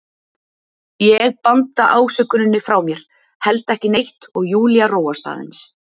Ég banda ásökuninni frá mér, held ekki neitt, og Júlía róast aðeins.